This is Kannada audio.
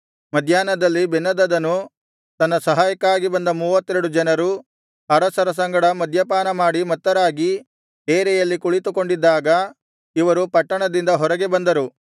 ಮಧ್ಯಾಹ್ನದಲ್ಲಿ ಬೆನ್ಹದದನು ತನ್ನ ಸಹಾಯಕ್ಕಾಗಿ ಬಂದ ಮೂವತ್ತೆರಡು ಜನರು ಅರಸರ ಸಂಗಡ ಮದ್ಯಪಾನ ಮಾಡಿ ಮತ್ತರಾಗಿ ಡೇರೆಯಲ್ಲಿ ಕುಳಿತುಕೊಂಡಿದ್ದಾಗ ಇವರು ಪಟ್ಟಣದಿಂದ ಹೊರಗೆ ಬಂದರು